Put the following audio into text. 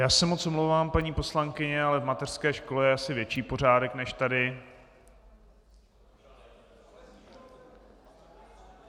Já se moc omlouvám, paní poslankyně, ale v mateřské škole je asi větší pořádek než tady.